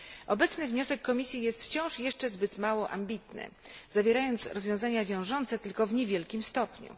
Obecny wniosek Komisji jest wciąż jeszcze zbyt mało ambitny, zawierając rozwiązania wiążące tylko w niewielkim stopniu.